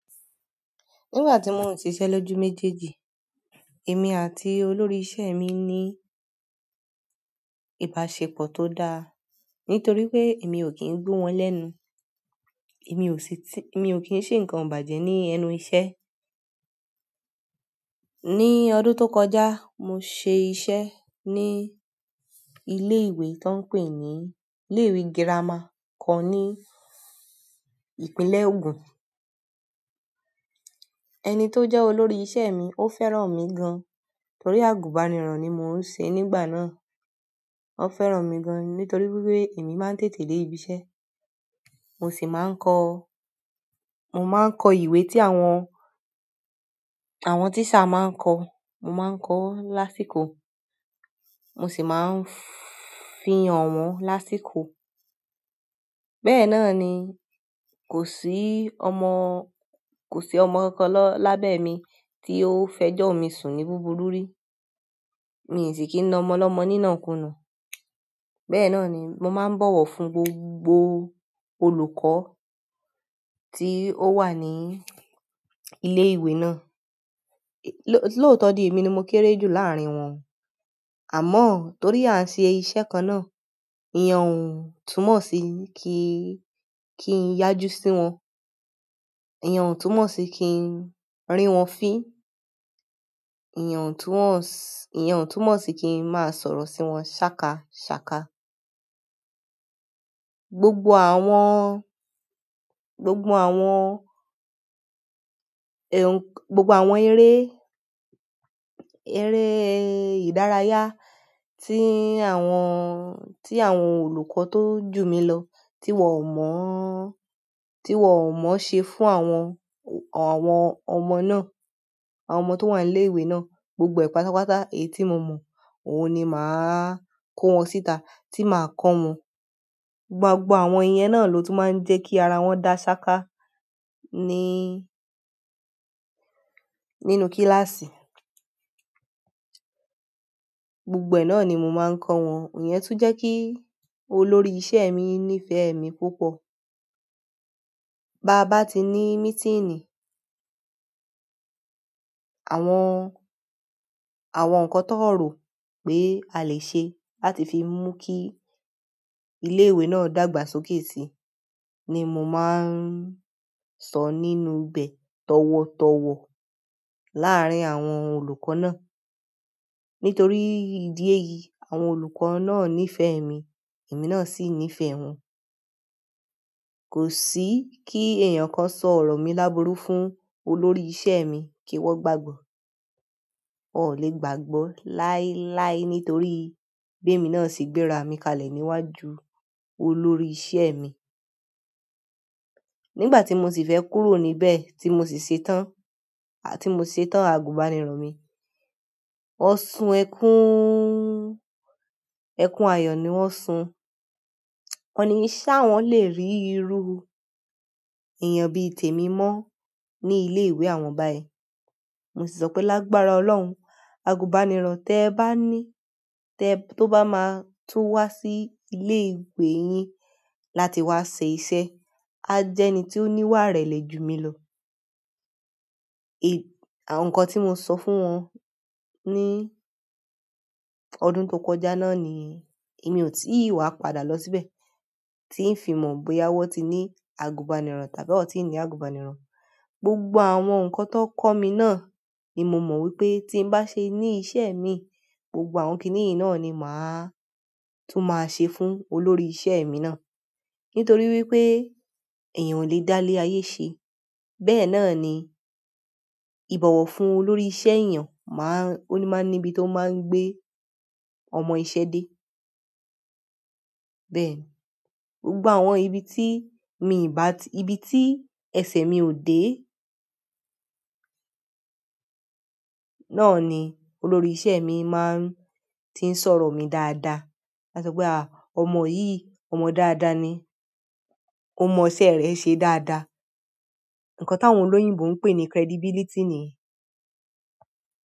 Ní ìgbà tí mò ń ṣiṣẹ́ lójú méjèèjì, èmi àti olórí iṣẹ́ mi ní ìbáṣepọ̀ tí ó dára nítorí wí pé èmi ò kí ń gbó wọn lẹ́nu. Èmi ò sì tí, èmi ò kí ń ṣe nǹkan ìbàjẹ́ ní ẹnu iṣẹ́. Ní ọdún tó kọjá, mo ṣe iṣẹ́ ní ilé ìwé tọ́ ń pè ní ilé ìwé girama kan ní ìpínlẹ̀ Ogun. Ẹni tó jẹ́ olórí iṣẹ́ mi ó fẹ́ràn mi gan, torí àgùnbànirọ̀ ni mò ń ṣe nígbà náà. Ó fẹ́ràn mi gan ni nítorí wípé èmi má ń tètè dé ibi iṣẹ́. Mo sì máa ń kọ, mo máa ń kọ ìwé tí àwọn, àwọn tíṣà máa ń kọ. Mo máa ń kọ wọ́n lásìkò. Mo sì máa ń fi hàn wọ́n lásìkò. Bẹ́ẹ̀ náà ni, kò sí ọmọ, kò sí ọmọ kan lọ lábẹ́ mi tí ó fẹjọ́ mi sùn ní búburú rí. Mi ò sì kí ń na ọmọ ọlọ́mọ ní ìnàkuunà. Bẹ́ẹ̀ náà ni, mo máa ń bọ̀wọ̀ fún gbogbo olùkọ́ tí ó wà ní ilé ìwé náà. Lóòtọ́ di, èmi ni mo kéré jù láàrín wọn o. Àmọ́ torí a ń ṣe iṣẹ́ kan náà, ìyẹn ò túmọ̀ sí kí, kí n yájú sí wọn. Ìyẹn o túmọ̀ sí kí n rí wọn fín. Ìyẹn o túmọ̀ si, ìyẹn ò túmọ̀ sí kí ń máa sọ̀rọ̀ sí wọn ṣákaṣàka. Gbogbo àwọn, gbogbo àwọn gbogbo àwọn eré, eré ìdárayá tí àwọn, tí àwọn olùkọ́ tó jù mí lọ, tí wọ́n o mọ̀ọ́, tí wọ́n mọ̀ọ́ ṣe fún àwọn, àwọn ọmọ náà, àwọn ọmọ tó wà ní ilé ìwé náà. Gbogbo ẹ̀ ìpátápátá èyí tí mo mọ̀, òun ni mà á kó wọn síta, tí máa kọ́ wọn. Gbogbo àwọn ìyẹn náà ló tún máa ń jẹ́ kí ara wọn dá ṣáka ní, nínú kíláàsì. Gbogbo ẹ̀ náà ni mo máa ń kọ wọn. Ìyẹn tún jẹ́ kí olórí iṣẹ́ mi nífẹ̀ẹ́ mi púpọ̀. Báa bá ti ní mítínì, àwọn, àwọn nǹkan tí wọn ò rò pé a lè ṣe láti fi mú kí ilé ìwé náà dàgbà sókè si ni mo máa ń sọ nínú ibẹ̀ tọ̀wọ̀tọ̀wọ̀ láàrín àwọn olùkọ́ náà. Nítorí ìdí èyí, àwọn olùkọ́ náà nífẹ̀ẹ́ mi, èmi náà sì nífẹ̀ẹ́ wọn. Kò sí kí èèyàn kan sọ ọ̀rọ̀ mí lábúrú fún olórí iṣẹ́ mi kí wọ́n gbàgbọ̀. Wọn ò leè gbàgbọ́ láyé láyé torí bí èmi náà ṣe gbé ara mi kalẹ̀ níwájú olórí iṣẹ́ mi nígbà tí mo sì fẹ́ kúrò níbẹ̀ tí mo sì ṣetán, à ti mo ṣetán àgùnbànirọ̀ mi, wọ́n sun ẹkún, ẹkún ayọ̀ ni wọ́n sun. Wọ́n ni ṣá wọ́n lè rí iru èèyàn bí i tèmi mọ́ ní ilé ìwé àwọn báyìí. Mo sì sọ pé "Lágbára Ọlọ́run, àgùnbànirọ̀ tí ẹ bá ní, tí ẹ tó bá máa tún wá sí ilé ìwé yín láti wá ṣe iṣẹ́, áá jẹ́ ẹni tí ó níwà ìrẹlẹ jù mí lọ". Ẹ̀, àwọn nǹkan tí mo sọ fún wọn ní ọdún tó kọjá náà nì yẹn èmi ò tí ì wá padà lọ síbẹ̀ tí ń fi mọ̀ bóyá wọ́n ti ní àgùnbànirọ̀ tàbí wọ́n ò tí ní àgùbànirọ̀. Gbogbo àwọn nǹkan tí wón kọ́ mi náà ni mo mọ̀ wípé tí ń bá ṣe ní iṣẹ́ mi, gbogbo àwọn kìíní náà ni mà á tún máa ṣe fún olórí iṣẹ́ mi náà. Nítorí wípé èèyàn ò lè dá ilé ayé ṣe. Bẹ́ẹ̀ náà ni ìbọ̀wọ̀ fún olórí iṣẹ́ èèyàn máà, ó ní máa ń ní ibi tó máa ń gbé ọmọ iṣẹ́ dé. Bẹ́ẹ̀ ni, gbogbo àwọn ibi tí mi ì bá ti, ibi tí ẹsẹ̀ mi ò dé náà ni olórí iṣẹ́ mi máa ń ti ń sọ̀rọ̀ mi dáadáa. Áá sọ pé "à, ọmọ yìí, ọmọ dáadáa ni. Ó mọn iṣẹ́ rẹ̀ẹ́ ṣe dáradára. Nǹkan táwọn olóyìnbo ń pè ní credibility nì yẹn."